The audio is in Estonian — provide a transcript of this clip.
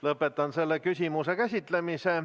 Lõpetan selle küsimuse käsitlemise.